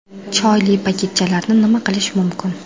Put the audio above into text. Choyli paketchalarni nima qilish mumkin?